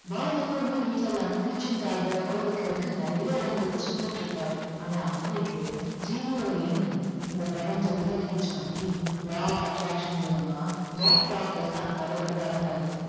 Pop எப்பவுமே வீட்ல இல்லாம teaching காக உலகத்துல இருக்க நிறைய இடங்களுக்கு சுத்திட்டு இருப்பாரு. ஆனா அன்னைக்கு ஜீனியோட எண்ணம் இந்த பிரபஞ்சத்தில் reach பண்ணி law of attraction மூலமா பாப் ப்ராக்டர் தான் கதவை திறந்தாரு.